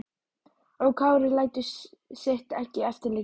Og Kári lætur sitt ekki eftir liggja.